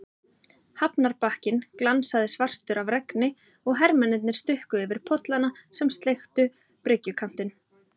Hafnarbakkinn glansaði svartur af regni og hermennirnir stukku yfir pollana sem sleiktu bryggjukantinn.